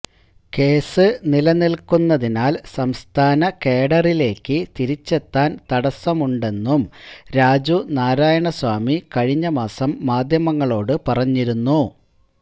case നിലനില്ക്കുന്നതിനാല് സംസ്ഥാന കേഡറിലേയ്ക്ക് തിരിച്ചെത്താന് തടസമുണ്ടെന്നും രാജുനാരായണ സ്വാമി കഴിഞ്ഞമാസം മാധ്യമങ്ങളോടു പറഞ്ഞിരുന്നു